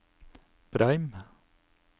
Breim